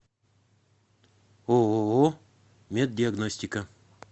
ооо меддиагностика